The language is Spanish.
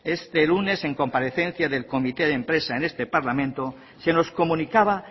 este lunes en comparecencia del comité de empresa en este parlamento se nos comunicaba